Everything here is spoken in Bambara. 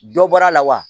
Dɔ bɔra la wa